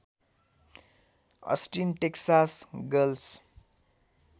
Austin Texas girls